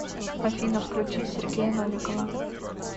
афина включи сергея новикова